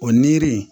O niri